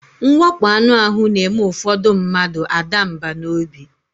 Mwakpọ anụ ahụ na-eme ụfọdụ mmadụ a daa mbà n'obi.